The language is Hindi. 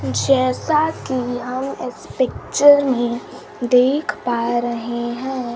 जैसा कि हम इस पिक्चर में देख पा रहे हैं।